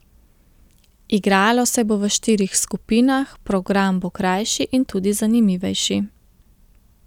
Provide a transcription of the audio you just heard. Igralo se bo v štirih skupinah, program bo krajši in tudi zanimivejši.